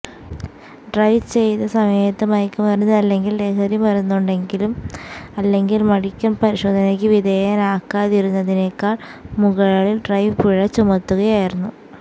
drive ചെയ്ത സമയത്ത് മയക്കുമരുന്ന് അല്ലെങ്കിൽ ലഹരി മരുന്നുണ്ടെങ്കിലും അല്ലെങ്കിൽ മെഡിക്കൽ പരിശോധനയ്ക്ക് വിധേയനാകാതിരുന്നതിനേക്കാൾ മുകളിൽ ഡ്രൈവർ പിഴ ചുമത്തുകയായിരുന്നു